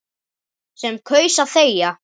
Sem kaus að þegja.